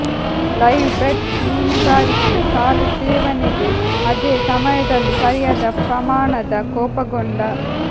live bait ಮೀನುಗಾರಿಕೆ ಸಾಲು ಸೇವನೆಗೆ ಅದೇ ಸಮಯದಲ್ಲಿ ಸರಿಯಾದ ಪ್ರಮಾಣದ ಕೋಪಗೊಂಡ